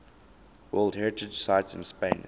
world heritage sites in spain